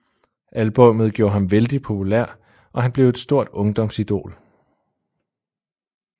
Albummet gjorde ham vældig populær og han blev et stort ungdomsidol